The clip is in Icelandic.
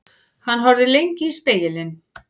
Hann horfði lengi í spegilinn.